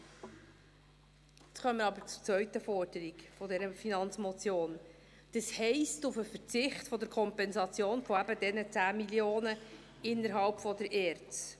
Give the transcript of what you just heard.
Jetzt kommen wir aber zur zweiten Forderung dieser Finanzmotion, das heisst, zum Verzicht der Kompensation eben dieser 10 Mio. Franken innerhalb der ERZ.